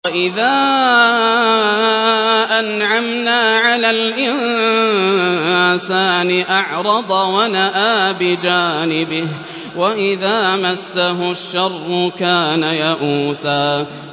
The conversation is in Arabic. وَإِذَا أَنْعَمْنَا عَلَى الْإِنسَانِ أَعْرَضَ وَنَأَىٰ بِجَانِبِهِ ۖ وَإِذَا مَسَّهُ الشَّرُّ كَانَ يَئُوسًا